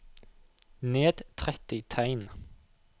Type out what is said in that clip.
Ned tretti tegn